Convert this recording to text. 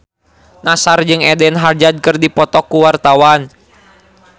Nassar jeung Eden Hazard keur dipoto ku wartawan